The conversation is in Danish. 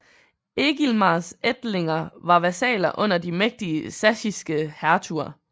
Egilmars ætlinger var vasaller under de mægtige sachsiske hertuger